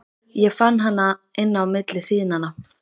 Ég fann hana inni á milli síðnanna.